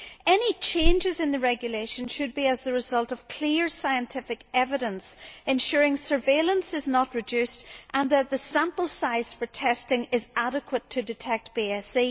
Any changes in the regulation should be as a result of clear scientific evidence, ensuring surveillance is not reduced and that the sample size for testing is adequate to detect BSC.